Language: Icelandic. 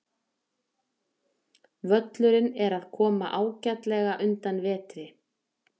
Völlurinn er að koma ágætlega undan vetri.